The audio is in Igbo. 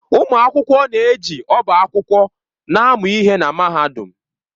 Ụmụ akwụkwọ na-eji ọba akwụkwọ na-amụ ihe na Mahadum.